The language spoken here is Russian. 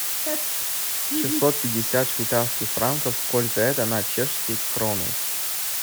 шестьсот пятьдесят швейцарских франков сколько это на чешские кроны